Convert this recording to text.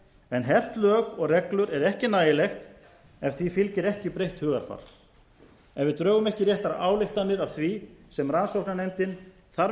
en hert lög og reglur er ekki nægilegt ef því fylgir ekki breytt hugarfar ef við drögum ekki réttar ályktanir af því sem rannsóknarnefndin þar